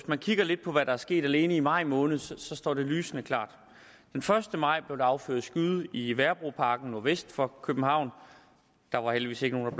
man kigger lidt på hvad der er sket alene i maj måned står det lysende klart den første maj blev der affyret skud i værebroparken nordvest for københavn der var heldigvis ikke nogen